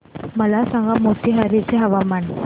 मला सांगा मोतीहारी चे हवामान